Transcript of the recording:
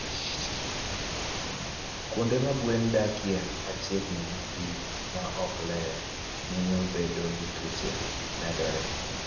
Kuonde ma gwen dakie machiegni gi pi ma ok ler, miyo bedo gi tuoche medore.